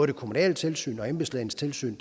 det kommunale tilsyn og embedslægens tilsyn